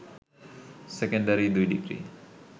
secondary ২ degree